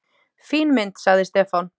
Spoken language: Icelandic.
fín mynd, sagði Stefán.